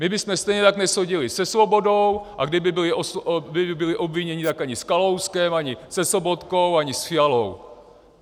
My bychom stejně tak neseděli se Svobodou, a kdyby byli obviněni, tak ani s Kalouskem, ani se Sobotkou, ani s Fialou.